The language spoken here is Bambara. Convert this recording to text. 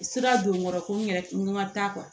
Sira don kɔrɔ ko n yɛrɛ n ka taa